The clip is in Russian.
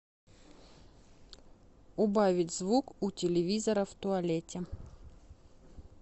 убавить звук у телевизора в туалете